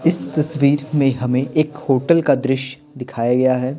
इस तस्वीर में हमें एक होटल का दृश्य दिखाया गया है।